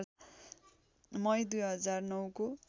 मई २००९ को